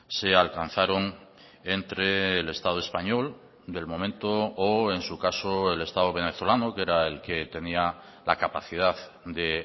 se alcanzaron entre el estado español del momento o en su caso el estado venezolano que era el que tenía la capacidad de